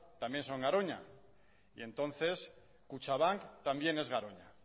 también son garoña y entonces kutxabank también es garoña